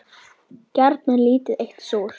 Gjarnan lítið eitt súr.